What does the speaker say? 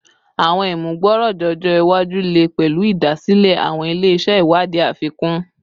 Awọn imugboroja ọjọ iwaju le pẹlu idasile awọn ile-iṣẹ iwadii afikun